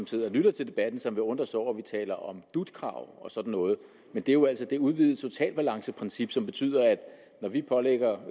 sidder og lytter til debatten som vil undre sig over at vi taler om dut krav og sådan noget men det er jo altså det udvidede totalbalanceprincip som betyder at når vi pålægger